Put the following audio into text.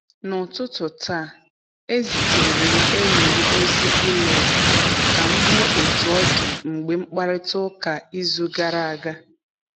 N'ụtụtụ taa, ezitere m enyi m ozi email ka m hụ otú ọ dị mgbe mkparịta ụka izu gara aga.